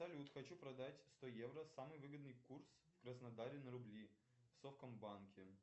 салют хочу продать сто евро самый выгодный курс в краснодаре на рубли в совкомбанке